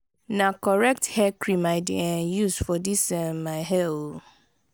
na correct hair cream i dey um use for dis um my hair o.